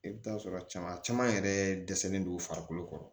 I bɛ taa sɔrɔ cama a caman yɛrɛ dɛsɛlen don u farikolo kɔrɔ